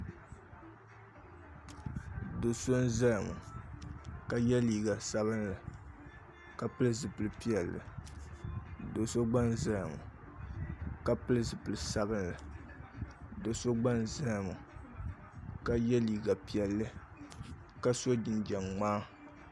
Do so n ʒɛya ŋo ka yɛ liiga sabinli ka pili zipili piɛlli do so gba n ʒɛya ŋo ka pili zipili sabinli do so gba n ʒɛya ŋo ka yɛ liiga piɛlli ka so jinjɛm ŋmaa